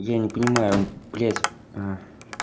я не понимаю блядь